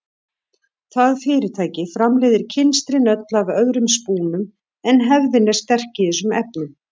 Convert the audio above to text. Það fyrirtæki framleiðir kynstrin öll af öðrum spúnum en hefðin er sterk í þessum efnum.